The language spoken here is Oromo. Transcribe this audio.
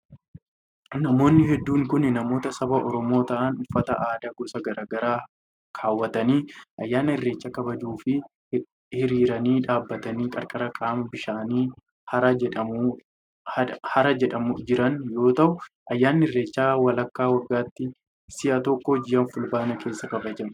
Namoonni hedduun kun, namoota saba Oromoo ta'an uffata aadaa gosa garaa garaa kaawwatanii ayyaana irreechaa kabajuuf hiriiraan dhaabbatanii qarqara qaama bishaanii hara jedhamu jiran yoo ta'u, ayyaanni irreecha malkaa waggaatti si'a tokko ji'a fulbaanaa keessa kabajama.